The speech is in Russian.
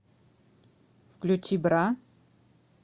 включи бра